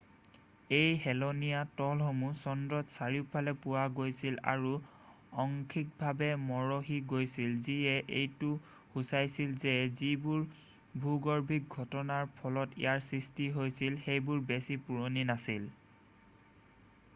এই হেলনীয়া তলসমূহ চন্দ্ৰত চাৰিওফালে পোৱা গৈছিল আৰু অংশীকভাৱে মৰহি গৈছিল যিয়ে এইটো সুচাইছিল যে যিবোৰ ভূগৰ্ভীক ঘটনাৰ ফলত ইয়াৰ সৃষ্টি হৈছিল সেইবোৰ বেছি পুৰণি নাছিল